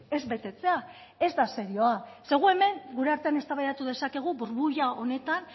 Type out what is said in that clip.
ez betetzea ez da serioa ze gu hemen gure artean eztabaidatu dezakegu burbuila honetan